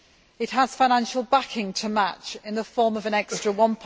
It has financial backing to match, in the form of an extra EUR